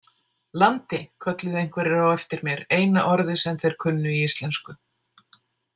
„Landi“ kölluðu einhverjir á eftir mér, eina orðið sem þeir kunnu í íslensku.